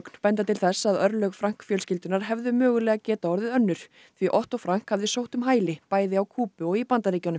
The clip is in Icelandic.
benda til þess að örlög Frank fjölskyldunnar hefðu mögulega getað orðið önnur því Otto Frank hafi sótt um hæli bæði á Kúbu og í Bandaríkjunum